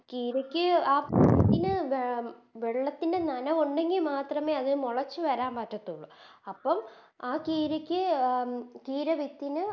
കിരക്ക് ആ ഇതിന് വെ വെള്ളത്തിൻറെ നനവ് ഉണ്ടെങ്കി മാത്രമേ അതിന് മൊളക്ക് വരാൻ പറ്റാത്തൊള്ളൂ അപ്പോം ആ കിരക്ക് അഹ് കിര വിത്തിന്